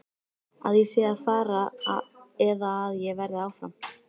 Að ég sé að fara eða að ég verði áfram?